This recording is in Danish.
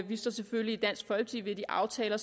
vi selvfølgelig ved de aftaler